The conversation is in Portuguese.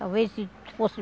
Talvez se se fosse...